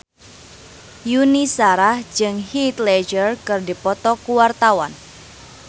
Yuni Shara jeung Heath Ledger keur dipoto ku wartawan